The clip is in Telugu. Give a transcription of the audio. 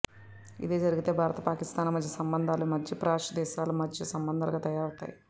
ఇదే జరిగితే భారత్ పాకిస్తాన్ల మధ్య సంబంధాలు మధ్యప్రాచ్య దేశాల సంబంధాలుగా తయారవ ుతాయి